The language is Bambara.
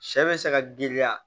Sɛ bɛ se ka giriya